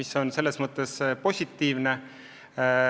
See on muidugi positiivne.